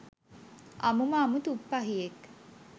අමුම අමු ‘තුප්පහියෙක්’.